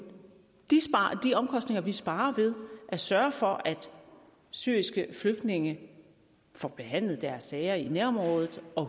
omkostninger vi sparer ved at sørge for at syriske flygtninge får behandlet deres sager i nærområdet og